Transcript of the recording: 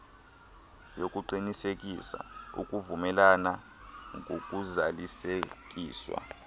yokuqinisekisa ukuvumelana ngokuzalisekiswa